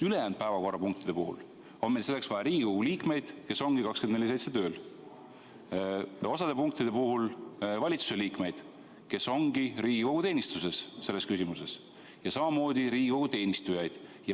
Sest ülejäänud päevakorrapunktide puhul on meil selleks vaja Riigikogu liikmeid, kes ongi 24/7 tööl, osa punktide puhul valitsuse liikmeid, kes ongi Riigikogu teenistuses selles küsimuses, ja samamoodi Riigikogu teenistujaid.